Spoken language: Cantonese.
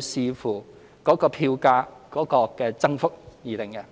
視乎票價增幅而定。